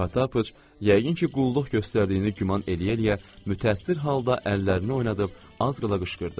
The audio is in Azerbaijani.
Potapıç, yəqin ki, qulluq göstərdiyini güman eləyə-eləyə mütəəssir halda əllərini oynadıb az qala qışqırdı.